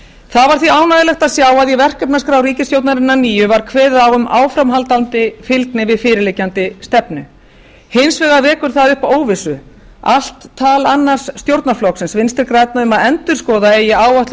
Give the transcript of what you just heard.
það var því ánægjulegt að sjá að í verkefnaskrá ríkisstjórnarinnar nýju var kveðið á um áframhaldandi fylgni við fyrirliggjandi stefnu hins vegar vekur upp óvissu allt tal annars stjórnarflokksins vinstri grænna um að endurskoða eigi áætlun